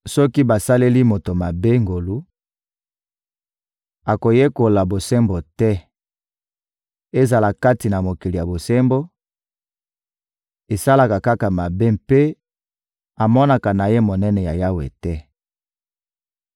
Soki basaleli moto mabe ngolu, akoyekola bosembo te; ezala kati na mokili ya bosembo, asalaka kaka mabe mpe amonaka na ye monene ya Yawe te.